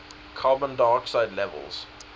carbon dioxide levels